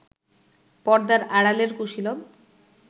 পর্দার আড়ালের কুশীলব